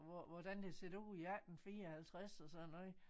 Hvor hvordan det set ud i 1854 og sådan noget